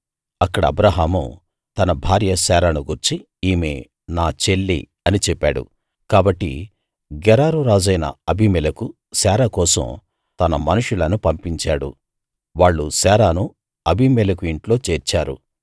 అక్కడ అబ్రాహాము తన భార్య శారాను గూర్చి ఈమె నా చెల్లి అని చెప్పాడు కాబట్టి గెరారు రాజైన అబీమెలెకు శారా కోసం తన మనుషులను పంపించాడు వాళ్ళు శారాను అబీమెలెకు ఇంట్లో చేర్చారు